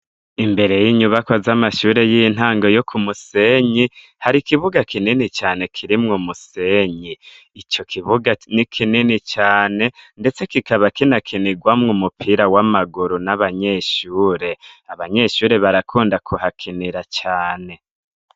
Imbere y'inyubako z'amashure y'intange yo ku musenyi hari ikibuga kinini cane kirimwo musenyi ico kibuga ni kinini cane, ndetse kikaba kina kinirwamwo umupira w'amaguru n'abanyeshure, abanyeshure barakunda kuhakinira cane.